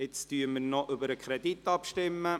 Jetzt stimmen wir noch über den Kredit ab.